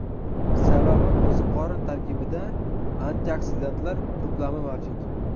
Sababi qo‘ziqorin tarkibida antioksidantlar to‘plami mavjud.